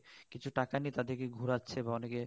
কিছু টাকা নিয়ে তাদের কে ঘোরাচ্ছে বা অনেকে